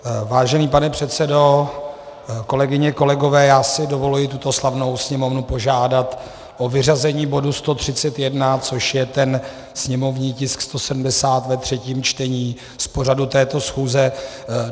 Vážený pane předsedo, kolegyně, kolegové, já si dovoluji tuto slavnou Sněmovnu požádat o vyřazení bodu 131, což je ten sněmovní tisk 170 ve třetím čtení, z pořadu této schůze.